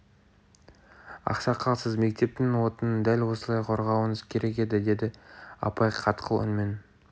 ақсақал сіз мектептің отынын дәл осылай қорғауыңыз керек еді деді апай қатқыл үнмен